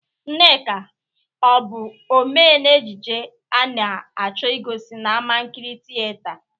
Nneka ọ bụ omee n'ejije a na-achọ igosi n'amankịrị tịyeta?